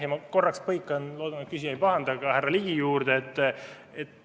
Ja ma korraks põikan – loodan, et küsija ei pahanda – ka härra Ligi küsimuse juurde.